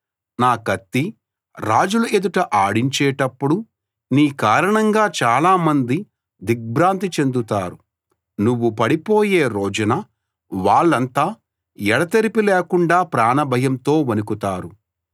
నా కత్తి రాజుల ఎదుట ఆడించేటప్పుడు నీ కారణంగా చాలామంది దిగ్భ్రాంతి చెందుతారు నువ్వు పడిపోయే రోజున వాళ్ళంతా ఎడతెరిపి లేకుండా ప్రాణభయంతో వణకుతారు